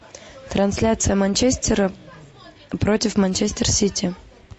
трансляция манчестера против манчестер сити